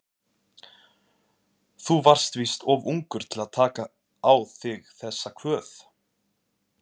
Þú varst víst of ungur til að taka á þig þessa kvöð.